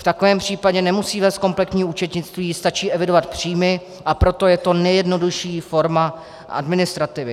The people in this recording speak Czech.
V takovém případě nemusí vést kompletní účetnictví, stačí evidovat příjmy, a proto je to nejjednodušší forma administrativy.